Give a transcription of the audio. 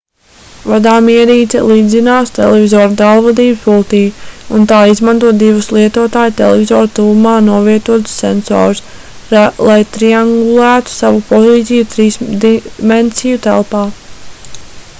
vadāmierīce līdzinās televizora tālvadības pultij un tā izmanto divus lietotāja televizora tuvumā novietotus sensorus lai triangulētu savu pozīciju trīsdimensiju telpā